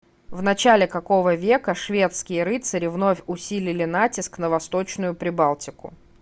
в начале какого века шведские рыцари вновь усилили натиск на восточную прибалтику